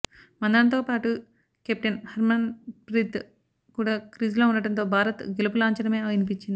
మంధానతోపాటు captain Harmanpreet కూడా క్రీజ్లో ఉండడంతో భారత్ గెలుపు లాంఛనమే అనిపించింది